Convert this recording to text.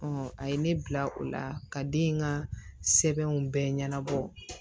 a ye ne bila o la ka den in ka sɛbɛnw bɛɛ ɲɛnabɔ